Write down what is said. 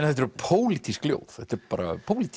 þetta eru pólitísk ljóð þetta er bara pólitík